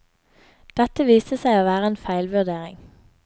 Dette viste seg å være en feilvurdering.